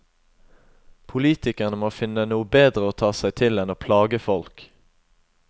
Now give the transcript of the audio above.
Politikerne må finne noe bedre å ta seg til enn å plage folk.